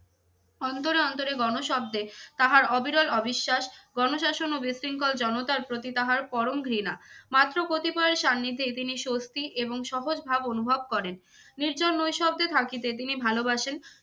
অন্তরে অন্তরে গণশব্দে তাহার অবিরল অবিশ্বাস, গণশাসন ও বিশৃঙ্খল জনতার প্রতি তাহার পরম ঘৃণা। মাত্র কতিপয়ের সান্নিধ্যেই তিনি স্বস্তি ও সহজ ভাব অনুভব করেন। নির্জন নৈঃশব্দে থাকিতে তিনি ভালোবাসেন।